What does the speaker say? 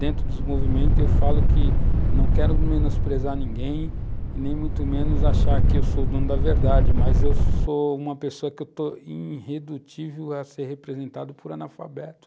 Dentro dos movimentos, eu falo que não quero menosprezar ninguém e nem muito menos achar que eu sou o dono da verdade, mas eu sou uma pessoa que estou irredutível a ser representado por analfabeto.